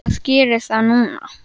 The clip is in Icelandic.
Hvað gerir það núna?